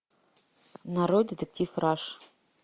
нарой детектив раш